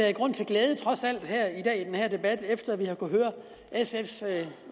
er grund til glæde i den her debat efter at vi har kunnet høre sfs